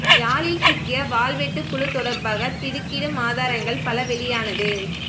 யாழில் சிக்கிய வாள்வெட்டு குழு தொடர்பாக திடுக்கிடும் ஆதரங்கள் பல வெளியானது